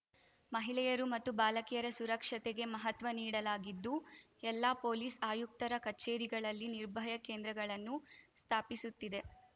ಮಹಿಳೆಯರು ಮತ್ತು ಬಾಲಕಿಯರ ಸುರಕ್ಷತೆಗೆ ಮಹತ್ವ ನೀಡಲಾಗಿದ್ದು ಎಲ್ಲಾ ಪೊಲೀಸ್‌ ಆಯುಕ್ತರ ಕಚೇರಿಗಳಲ್ಲಿ ನಿರ್ಭಯ ಕೇಂದ್ರಗಳನ್ನು ಸ್ಥಾಪಿಸುತ್ತಿದೆ